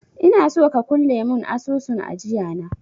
Inaso ka kulle mun asusun ajiya na